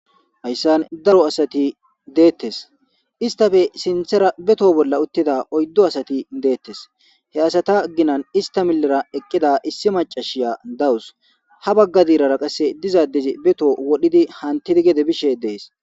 hayssan daro asati deettes istafe sinthera beto bolla uttida oyddo asati deettes he asata ginan ista millera eqqida issi macashiya dawus ha bagga diirara qasse dizadezi beto wodhidi hantidi gede bishe dees